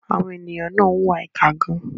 Àwọn ènìyàn náà ń hùwà ìkà gan-an.